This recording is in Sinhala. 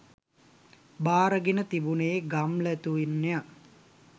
භාරගෙන තිබුණේ ගම්ලතුන් ය.